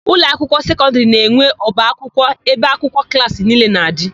Ụlọakwụkwọ sekọndịrị na-enwe ọbaakwụkwọ ebe akwụkwọ klaasị niile na-adị.